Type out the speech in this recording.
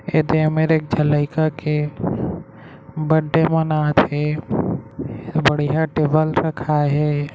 यह में एक झन लइका के बड्डे मानत हे बढ़िया टेबल रखाये हे ।